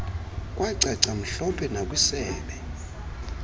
kwacaca mhlophe nakwisebe